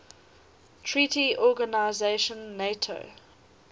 treaty organization nato